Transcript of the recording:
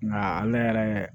Nka ale yɛrɛ